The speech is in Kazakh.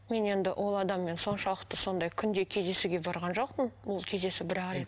мен енді ол адаммен соншалықты сондай күнде кездесуге барған жоқпын ол кездесу бір ақ рет